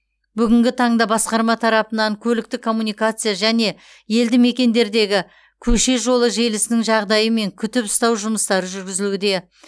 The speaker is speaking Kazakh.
бүгінгі таңда басқарма тарапынан көліктік коммуникация және елді мекендердегі көше жолы желісінің жағдайы мен күтіп ұстау жұмыстары жүргізілуде